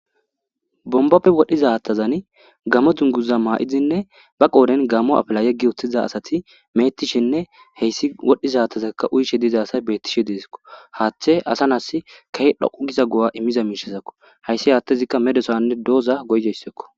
bombappe wodhizattazan gamo dunguza maa7izinne ba qooden gammo apla yeggi uththiza asati meetishinne heyssi wodhdhizaattazakka uyshe diiza asay bettishe deezikko haaththe asa nas kahe dhoqu giza go7a immiza miishazakko hayssi haattezikka medosonne dooza goygeyssakko